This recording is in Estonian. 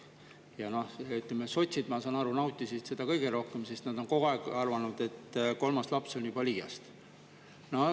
Ja sotsid, ma saan aru, nautisid seda kõige rohkem, sest nad on kogu aeg arvanud, et kolmas laps on juba liiast.